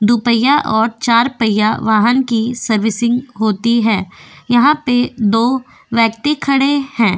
दो पैया और चार पैया वाहन की सर्विसिंग होती है यहां पे दो व्यक्ति खड़े हैं।